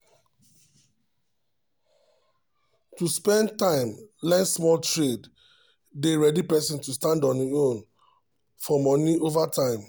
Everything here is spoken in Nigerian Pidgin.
to spend time learn small trade dey ready person to stand on im own for money over time.